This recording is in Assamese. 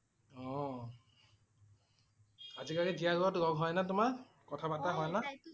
অ' আজি কালি জীয়া লগত লগ হয় নে তোমাৰ? কথা পতা হয় না?